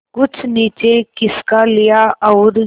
कुछ नीचे खिसका लिया और